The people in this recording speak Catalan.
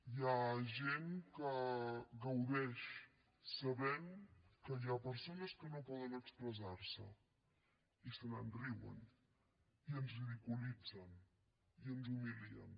hi ha gent que gaudeix sabent que hi ha persones que no poden expressar se i se’n riuen i ens ridiculitzen i ens humilien